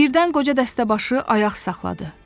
Birdən qoca dəstəbaşı ayaq saxladı.